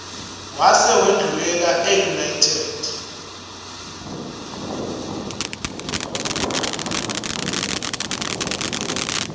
wase wendlulela eunited